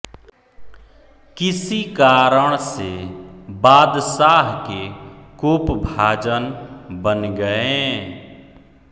किसी कारण से बादशाह के कोपभाजन बन गए